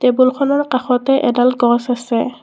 টেবুলখনৰ কাষতে এডাল গছ আছে।